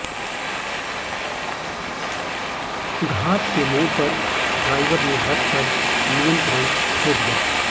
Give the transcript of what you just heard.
घाट के मोड़ पर ड्राइवर ने बस पर नियंत्रण खो दिया